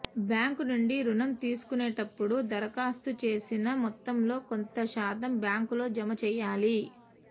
bank నుండి రుణం తీసుకునేటప్పుడు దరఖాస్తు చేసిన మొత్తంలో కొంత శాతం బ్యాంకులో జమ చేయాలి